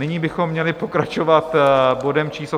Nyní bychom měli pokračovat bodem číslo